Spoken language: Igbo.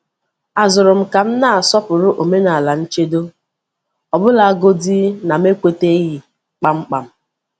A zụrụ m ka m na-asọpụrụ omenala nchedo ọbụlagodị na m ekwètaghị kpamkpam.